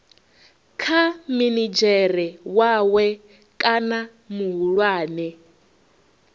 kha minidzhere wawe kana muhulwane